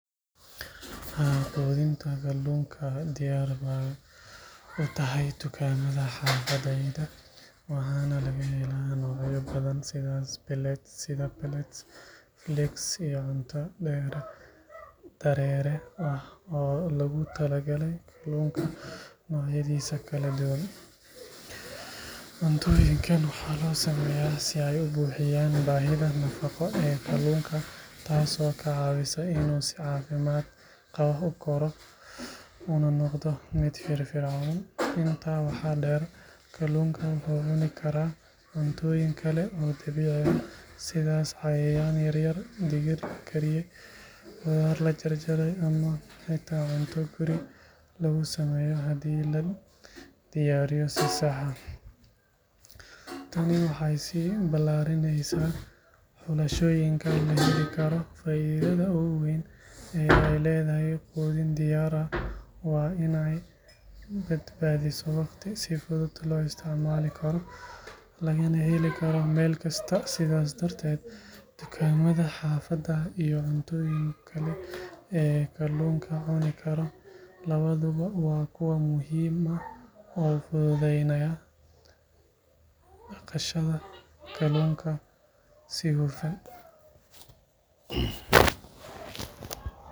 Haa, quudinta kalluunka diyaar bay u tahay dukaamada xaafaddayda, waxaana laga helaa noocyo badan sida pellets, flakes iyo cunto dareere ah oo loogu talagalay kalluunka noocyadiisa kala duwan. Cuntooyinkan waxaa loo sameeyaa si ay u buuxiyaan baahida nafaqo ee kalluunka, taasoo ka caawisa inuu si caafimaad qaba u koro una noqdo mid firfircoon. Intaa waxaa dheer, kalluunka wuxuu cuni karaa cuntooyin kale oo dabiici ah sida cayayaan yaryar, digir la kariyey, khudaar la jarjaray ama xitaa cunto guri lagu sameeyo haddii la diyaariyo si sax ah. Tani waxay sii ballaarinaysaa xulashooyinka la heli karo. Faa’iidada ugu weyn ee ay leedahay quudin diyaar ah waa in ay badbaadiso waqti, si fudud loo isticmaali karo, lagana heli karo meel kasta. Sidaas darteed, dukaamada xaafadda iyo cuntooyinka kale ee uu kalluunka cuni karo labaduba waa kuwo muhiim ah oo fududaynaya dhaqashada kalluunka si hufan.